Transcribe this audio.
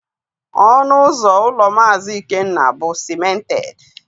Ọnụ ụzọ ụlọ Maazi Ikenna bụ sịmented